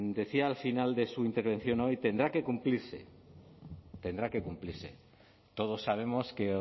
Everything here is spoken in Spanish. decía al final de su intervención hoy tendrá que cumplirse todos sabemos que